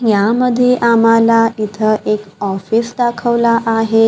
यामध्ये आम्हाला इथं एक ऑफिस दाखवला आहे.